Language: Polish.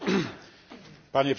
Panie Przewodniczący!